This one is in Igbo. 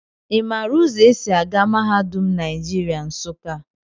I maara ụzọ e si aga mahadum Naijiria, Nsụka?